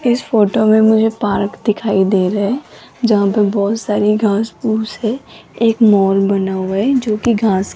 इस फोटो में मुझे पार्क दिखाई दे रे है जहां पे बहोत सारी घास फूस है एक माल बना हुआ है जो की घास --